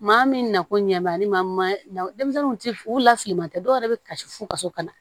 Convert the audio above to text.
Maa min na ko ɲɛ b'a ni ma denmisɛnninw ti u la fili man tɛ dɔwɛrɛ bɛ kasi f'u kaso kana